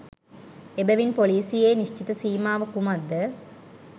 එබැවින් පොලීසියේ නිශ්චිත සීමාව කුමක්ද